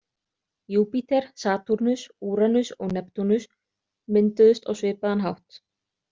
Júpíter, Satúrnus, Úranus og Neptúnus, mynduðust á svipaðan hátt.